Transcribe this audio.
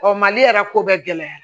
Ɔ mali yɛrɛ ko bɛɛ gɛlɛya